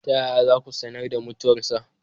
Ta yaya za ku sanar da mutuwarsa?